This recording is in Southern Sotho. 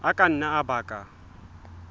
a ka nna a baka